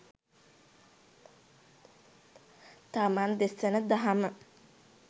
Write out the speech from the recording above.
තමන් දෙසන දහම